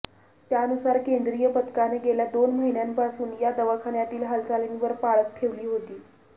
त्यानुसार केंद्रीय पथकाने गेल्या दोन महिन्यांपासून या दवाखान्यातील हालचालींवर पाळत ठेवली होती